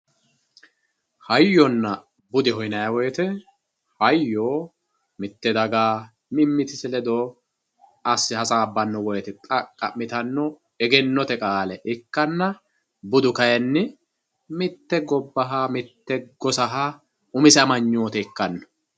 Hayyona budeho yinayi woyite hayyo mitte daga mimitise ledo asite hasabano woyite xaqamitano egenote qaale ikanna budu kayini mitte gobbaha mitte gosaha umise amaynote ikano.